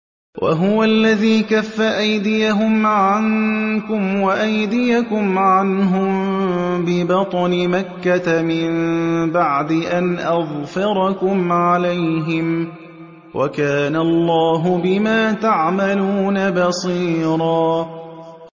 وَهُوَ الَّذِي كَفَّ أَيْدِيَهُمْ عَنكُمْ وَأَيْدِيَكُمْ عَنْهُم بِبَطْنِ مَكَّةَ مِن بَعْدِ أَنْ أَظْفَرَكُمْ عَلَيْهِمْ ۚ وَكَانَ اللَّهُ بِمَا تَعْمَلُونَ بَصِيرًا